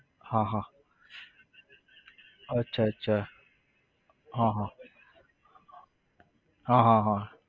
હા હા અચ્છા અચ્છા હા હા હા હા હા